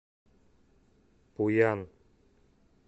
пуян